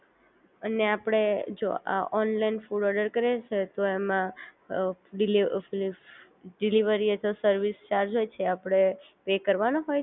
અને આપડે જો આ ઓનલાઇન ફૂડ ઓર્ડર કરીએ છે તો એમ અ ડિલિવ ડિલિવરી એજ અ સર્વિસ ચાર્જ જે છે આપડે પે કરવા નો હોય છે.